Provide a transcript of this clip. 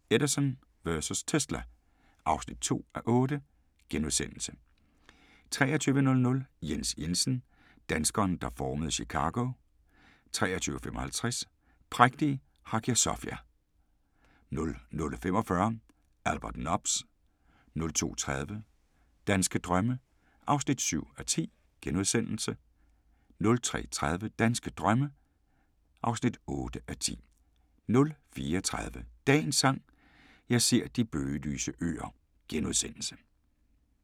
22:15: Genierne: Edison vs. Tesla (2:8)* 23:00: Jens Jensen - danskeren der formede Chicago 23:55: Prægtige Hagia Sofia 00:45: Albert Nobbs 02:30: Danske drømme (7:10)* 03:30: Danske drømme (8:10) 04:30: Dagens Sang: Jeg ser de bøgelyse øer *